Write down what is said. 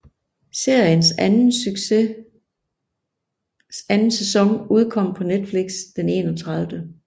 Seriens anden sæson udkom på Netflix den 31